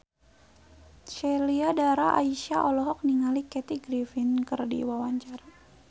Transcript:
Sheila Dara Aisha olohok ningali Kathy Griffin keur diwawancara